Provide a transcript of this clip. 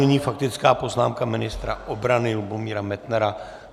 Nyní faktická poznámka ministra obrany Lubomíra Metnara.